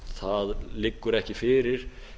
það liggja ekki fyrir